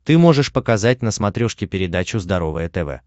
ты можешь показать на смотрешке передачу здоровое тв